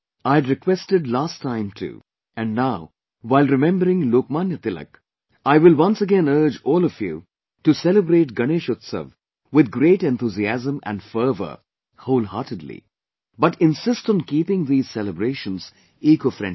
I had requested last time too and now, while remembering Lokmanya Tilak, I will once again urge all of you to celebrate Ganesh Utsav with great enthusiasm and fervour whole heartedly but insist on keeping these celebrations ecofriendly